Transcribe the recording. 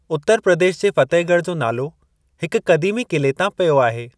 उत्तर प्रदेश जे फतेहगढ़ जो नालो हिकु क़दीमी क़िले तां पियो आहे ।